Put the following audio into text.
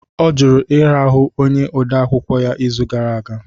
Ọ jụrụ ịrahụ onye odeakwụkwọ ya n'izu gara aga